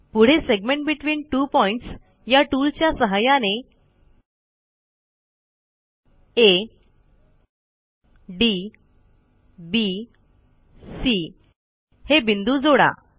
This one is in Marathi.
पुढे सेगमेंट बेटवीन त्वो पॉइंट्स या टूलच्या सहाय्याने आ डी बी सी हे बिंदू जोडा